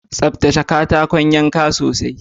Tsaftace katakon yanke sosai